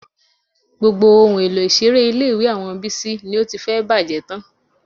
Gbogbo àwọn ohun èlò ìṣeré ilé-ìwé àwọn Bísí ni ó ti fẹ́ẹ̀ bàjẹ́ tán